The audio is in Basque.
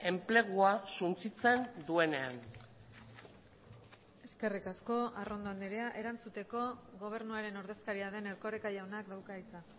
enplegua suntsitzen duenean eskerrik asko arrondo andrea erantzuteko gobernuaren ordezkaria den erkoreka jaunak dauka hitza